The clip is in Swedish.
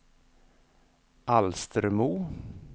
Alstermo